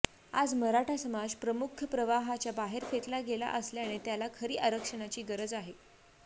आज मराठा समाज मुख्यप्रवाहाच्या बाहेर फेकला गेला असल्याने त्याला खरी आरक्षणाची गरज आहे